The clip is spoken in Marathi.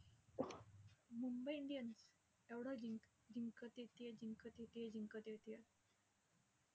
मुंबई इंडियन्स एवढं जिंक जिंकत येतेय, जिंकत येतेय, जिंकत येतेय,